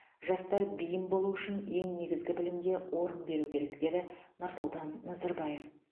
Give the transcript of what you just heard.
жастар бейім болуы үшін ең негізгі білімге орын беру керек деді нұрсұлтан назарбаев